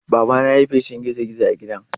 Babana ya yi feshin gizo-gizo a gidan.